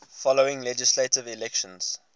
following legislative elections